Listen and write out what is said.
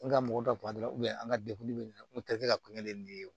N ka mɔgɔ dɔ b'a dɔn dɛ an ka dekun be nin na n te ka ko ɲɛ ni ye o